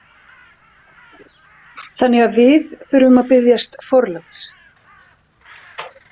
Þannig að við þurfum að biðjast forláts.